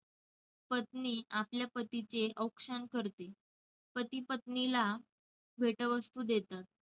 पत्नी आपल्या पतीचे औक्षण करते. पती पत्नीला भेटवस्तू देतात.